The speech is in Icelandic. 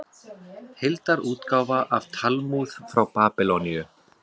Heildarútgáfa af Talmúð frá Babýloníu.